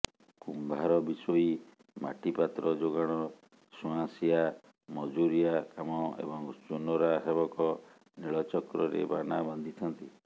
କୁମ୍ଭାର ବିଶୋଇ ମାଟିପାତ୍ର ଯୋଗାଣ ସୁଆଁସିଆଁ ମଜୁରିଆ କାମ ଏବଂ ଚୁନରା ସେବକ ନୀଳଚକ୍ରରେ ବାନା ବାନ୍ଧିଥାନ୍ତି